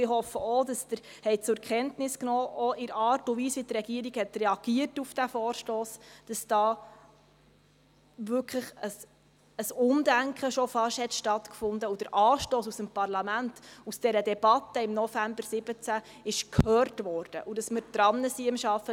Ich hoffe auch, dass Sie auch aufgrund der Art und Weise, wie die Regierung auf diesen Vorstoss reagiert hat, zur Kenntnis genommen haben, dass da wirklich schon fast ein Umdenken stattgefunden hat, der Anstoss aus dem Parlament in der Debatte von November 2017 gehört wurde und wir am Arbeiten sind.